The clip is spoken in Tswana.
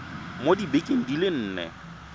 mo dibekeng di le nne